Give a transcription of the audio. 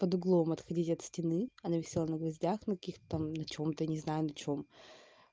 под углом отходить от стены она висела на гвоздях на каких-то там на чем-то не знаю на чем